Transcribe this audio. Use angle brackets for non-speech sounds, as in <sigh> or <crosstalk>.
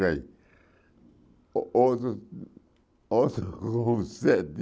<unintelligible> Ou outro outro com sete